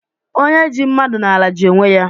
Onye ji mmadụ n'ala, ji onwe ya